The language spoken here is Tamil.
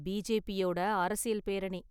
பிஜேபியோட அரசியல் பேரணி.